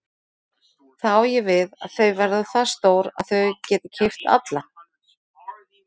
Þá á ég við að þau verða það stór að þau geti keypt alla?